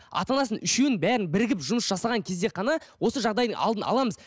ата анасын үшеуін бәрін бірігіп жұмыс жасаған кезде ғана осы жағдайдың алдын аламыз